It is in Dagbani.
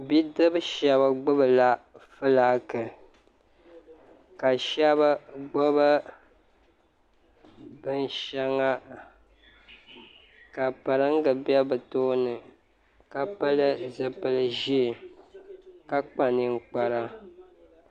Bidibi shɛba gbibila filaaki ka shɛba gbibi binshɛŋa ka piringa be bɛ tooni ka pili zipili ʒee ka kpa ninkpara